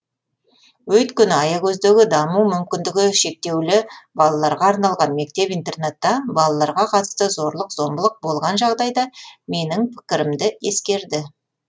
өйткені аягөздегі даму мүмкіндігі шектеулі балаларға арналған мектеп интернатта балаларға қатысты зорлық зомбылық болған жағдайда менің пікірімді ескерді